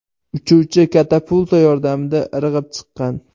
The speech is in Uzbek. Uchuvchi katapulta yordamida irg‘ib chiqqan.